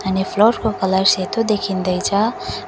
अनि फ्लोर को कलर सेतो देखिँदैछ।